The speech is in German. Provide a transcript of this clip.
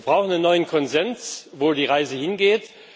Wir brauchen einen neuen Konsens, wohin die Reise geht.